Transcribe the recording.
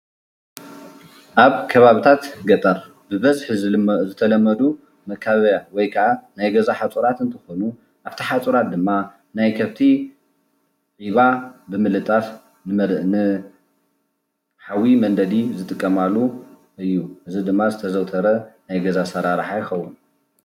ኣብ ከባብታት ገጠር ብበዝሒ ዝተለመዱ መካበብያ ወይ ከዓ ናይ ገዛ ሓፁራት እንትኮኑ ኣብቲ ሓፁራት ድማ ናይ ከፍቲ ዒባ ብምልጣፍ ንሓዊ መንደዲ ዝጥቀማሉ እዩ እዚ ድማ ዝተዘውተረ ናይ ገዛ ኣሰራርሓ ይከዉን ።